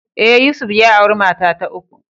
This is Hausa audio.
Ee, Yusuf ya auri mata ta uku.